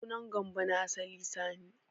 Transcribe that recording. Sunan Gambo na asali Sani.